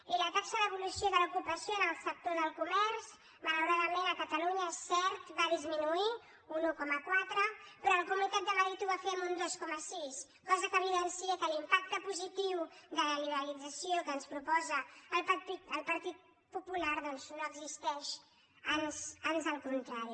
i la taxa d’evolució de l’ocupació en el sector del comerç malauradament a catalunya és cert va disminuir un un coma quatre però a la comunitat de madrid ho va fer en un dos coma sis cosa que evidencia que l’impacte positiu de la liberalització que ens proposa el partit popular doncs no existeix ans al contrari